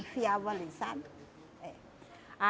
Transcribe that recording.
Enfiava ali, sabe? É.